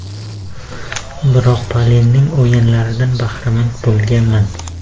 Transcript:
Biroq, Pelening o‘yinlaridan bahramand bo‘lmaganman.